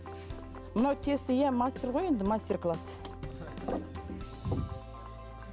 мынау теста иә мастер ғой енді мастер класс